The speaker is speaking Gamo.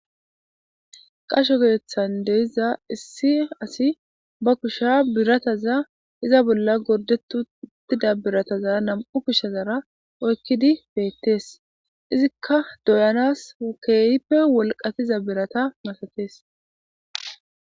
Qasho geethan deiza issi asi ba kusha birataza iza bolla gordetutida birataza nam7u kushshazara oykkidi beettees. izikka doyanas okeeyippe wolqatiza birata dafatees.